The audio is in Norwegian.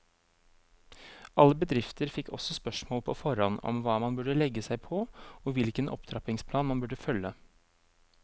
Alle bedrifter fikk også spørsmål på forhånd om hva man burde legge seg på, og hvilken opptrappingsplan man burde følge.